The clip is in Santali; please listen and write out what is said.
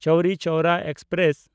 ᱪᱳᱣᱨᱤ ᱪᱳᱣᱨᱟ ᱮᱠᱥᱯᱨᱮᱥ